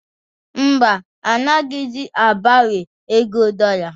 Mba, anaghịzi agbanwe ego dọla